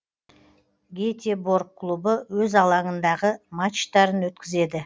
гетеборг клубы өз алаңындағы матчтарын өткізеді